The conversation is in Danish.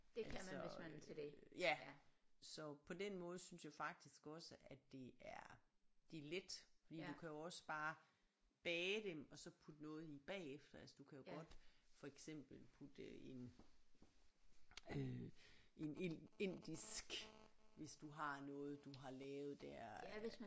Altså øh ja så på den måde synes jeg faktisk også at det er det er let fordi du kan jo også bare bage dem og så putte noget i bagefter altså du kan jo godt for eksempel putte en øh en en indisk hvis du har noget du har lavet der